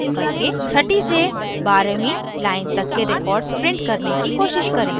छठी से बारहवीं line तक के records print करने की कोशिश करें